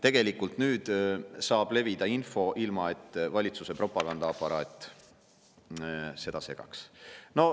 Tegelikult nüüd saab levida info ilma, et valitsuse propagandaaparaat seda segaks.